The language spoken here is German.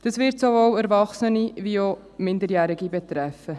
Das wird sowohl Erwachsene als auch Minderjährige betreffen.